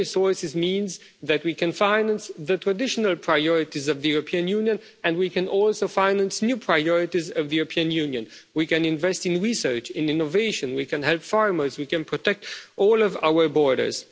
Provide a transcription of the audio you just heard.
Own resources means that we can finance the traditional priorities of the European Union and we can also finance new priorities of the European Union we can invest in research, in innovation, we can help farmers, we can protect all of our borders.